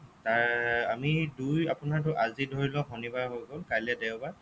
আহ আমি দুই আপোনাৰটো আজি ধৰি লওঁক শনিবাৰ হৈ গ'ল কাইলৈ দেওবাৰ